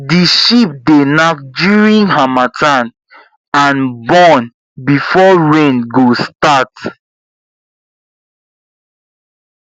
the sheep dey knack during harmattan and born before rain go start